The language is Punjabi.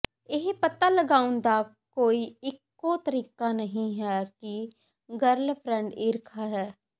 ਇਹ ਪਤਾ ਲਗਾਉਣ ਦਾ ਕੋਈ ਇਕੋ ਤਰੀਕਾ ਨਹੀਂ ਹੈ ਕਿ ਗਰਲਫ੍ਰੈਂਡ ਈਰਖਾ ਹੈ